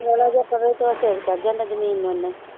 ਮਾੜਾ ਜਿਹਾ ਪਵੇ ਤੇ ਛੇਕ ਚੜ੍ਹ ਜਾਂਦਾ ਜ਼ਮੀਨ ਓਨੇ।